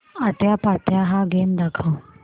आट्यापाट्या हा गेम दाखव